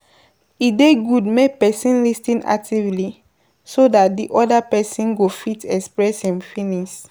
E dey good make person lis ten actively so dat di oda person go fit express im feelings